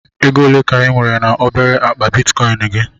Ego ole ka ị nwere na obere akpa Bitikoin gị?